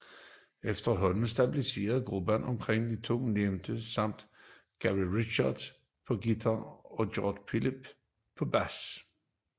Efterhånden stabiliseredes gruppen omkring de to ovennævnte samt Gary Richrath på guitar og Gregg Philbin på bas